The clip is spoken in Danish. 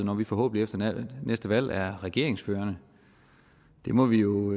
når vi forhåbentlig efter næste valg er regeringsførende der må vi jo